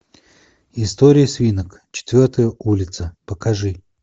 история свинок четвертая улица покажи